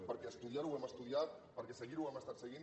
perquè estudiar ho ho hem estudiat perquè seguir ho ho hem estat seguint